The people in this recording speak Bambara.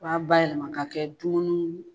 B'a bayɛlɛma k'a kɛ dumunu.